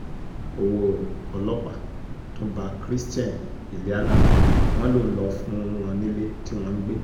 owó ọlọ́pàá tún bá christian iliana wọn lòun lọ fún wọn nílé tí wọ́n ń gbé